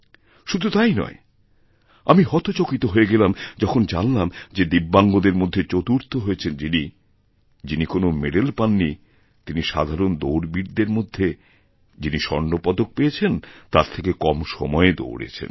শুধু তাই নয় আমি হতচকিত হয়ে গেলাম যখন জানলাম যেদিব্যাঙ্গদের মধ্যে চতুর্থ হয়েছেন যিনি যিনি কোনও মেডেল পান নি তিনি সাধারণদৌড়বীরদের মধ্যে যিনি স্বর্ণপদক পেয়েছেন তার থেকে কম সময়ে দৌড়েছেন